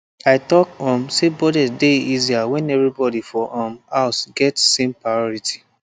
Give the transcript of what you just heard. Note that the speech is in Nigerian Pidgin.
i talk um say budget dey easier when everybody for um house get same priority